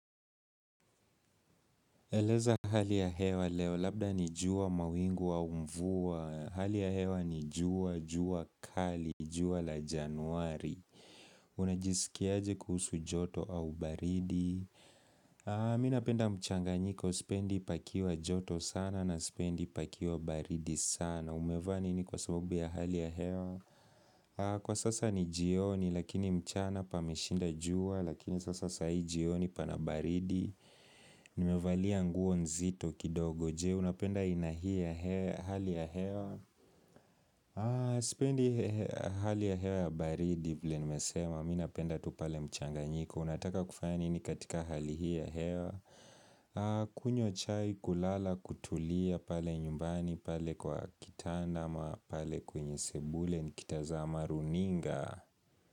Eleza hali ya hewa leo, labda ni jua mawingu au mvuwa Hali ya hewa ni jua jua kali jua la januari Unajisikiaje kuhusu joto au baridi Mi napenda mchanganyiko, sipendi pakiwa joto sana na sipendi pakiwa baridi sana Umevaa nini kwa sababu ya hali ya hewa Kwa sasa ni jioni, lakini mchana pameshinda jua Lakini sasa saa hii jioni pana baridi Nimevalia nguo nzito kidogo je Unapenda aina hii ya hali ya hewa Sipendi hali ya hewa ya baridi vile nimesema mi napenda tu pale mchanganyiko unataka kufanya ni katika hali hii ya hewa kunywa chai kulala kutulia pale nyumbani pale kwa kitanda ama pale kwenye sebule nikitazama runinga.